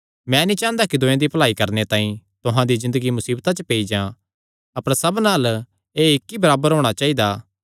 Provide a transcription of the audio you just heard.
मैं नीं चांह़दा कि दूयेयां दी भलाई करणे तांई तुहां दी ज़िन्दगी मुसीबता च पेई जां अपर सबना अल्ल एह़ इक्क बराबर होणा चाइदा